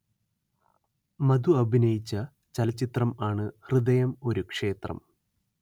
മധു അഭിനയിച്ച ചലച്ചിത്രം ആണ് ഹൃദയം ഒരു ക്ഷേത്രം